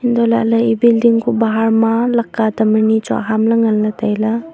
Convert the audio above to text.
antoh lahle e building kuh bahar ma lakka tam anyi chu aham le nganle taile.